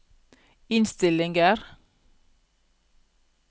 innstillinger